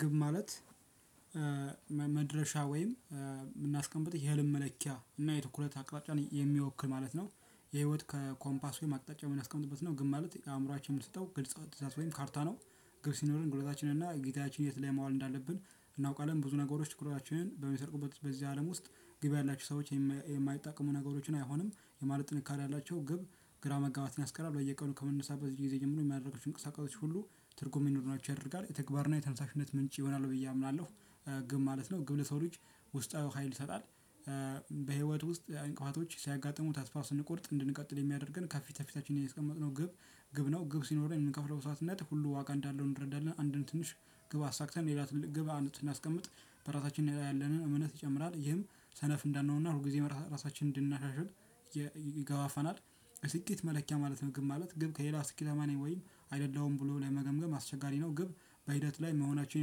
ግብ ማለት መድረሻ ወይም የምናስቀምጥ የህልም መለኪያ እና የትኩረት አቅራጫን የሚወክል ማለት ነው። የህይወት ከኮምፓስ ወይም አቅጣጫ የሚያስቀምጥበት ነው። ግን ማለት አእምሮአችን የምንሰጠው ግልጽ ዌይም ካርታ ነው። ግብ ሲኖረን ጉልበታችን እና ጊዜያችን የት ላይ ማዋል እንዳለብን እናውቃለን ብዙ ነገሮች ችግራችንን በሚሰርቁበት በዚህ አለም ውስጥ። ግብ ያላችሁ ሰዎች የማይጠቅሙ ነገሮችን አይሆንም የማለት ጥንካሬ ያላቸው ግብ ግራ መጋባትን ያስቀራል። በየቀኑ ከመነሳት በዚህ ጊዜ ጀምሮ የሚያደርገው የሚያደርገው እንቅስቃሴ ሁሉ ትርጉም የሚኖሩናቸው ያደርጋል የተግባርና የተነሳሽነት ምንጭ ይሆናሉ ብዬ አምናለሁ። ግብ ማለት ነው ግብ ለሰው ልጅ ውስጣዊ ሀይል ይሰጣል። በህይወት ውስጥ እንቅፋቶች ሲያጋጥሙት አስፋ ስንቆርጥ እንድንቀጥል የሚያደርገን ከፊተፊታችን ያስቀመጥነው ግብ። ግብ ነው ግብ ሲኖረን የምንከፍለው መሰዋትነት ሁሉ ዋጋ እንዳለው እንረዳለን። አንድን ትንሽ ግብ አሳክተን የሌላትን ግብ አንድ ስናስቀምጥ በራሳችን ላይ ያለንን እምነት ይጨምራል ይህም ሰነፍ እንዳንሆንና ሁል ጊዜ ራሳችንን እንድናሻሽል ይገባናል። ስኬት መለኪያ ማለት ነው። ግብ ማለት ግብ ከሌላ ስኬትአማነኝ ወይም አይደለም ብሎ ለመገምገም አስቸጋሪ ነው። ግብ በሂደት ላይ መሆናቸውን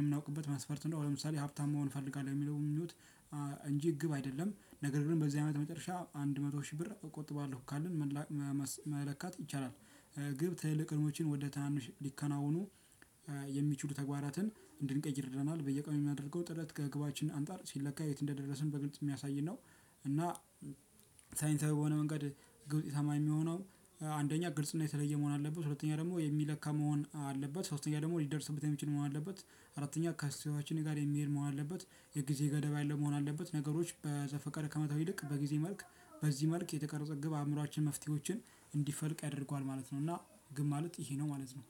የምናውቅበት መስፈርት ነው። ለምሳሌ ሀብታም መሆን እፈልጋለሁ የሚለውን የሚሉት እንጂ ግብ አይደለም ነገር ግን በዚህ አመት መጨረሻ አንድ መቶ ሺህ ብር እቆጥባለሁ ካልን መለካት ይቻላል። ግብ ትልልቅ ህልሞችን ወደ ትናንሽ ሊከናወኑ የሚችሉ ተግባራትን እንድንቀይር ይርደናል በየቀኑ የሚያደርገው ጥለት ከእግባችን አንጣር ሲለካ የት እንደደረስን በግልጽ የሚያሳይን ነው። እና ሳይንሳዊ በሆነመንገድ ውጤታማ እሚሆነው አንደኛ ግልጽ እና የተለየ መሆን አለበት። ሶስተኛ ደግሞ የሚለካ መሆን አለበት። ሶስተኛ ደግሞ ሊደርስበት የሚችል መሆን አለበት። አራተኛ ከስተያዋችን ጋር የሚሄድ መሆን አለበት። የጊዜ ገደብ ያለው መሆን አለበት ነገሮች በዘፈቀደ ከማስኪድ ይልቅ በጊዜ መልክ በዚህ መልክ የተቀረጸ ግብ አእምሮአችን መፍትሄዎችን እንዲፈልቅ ያደርገዋል ማለት ነው። እና ግማል ውጥ ይሄ ነው ማለት ነው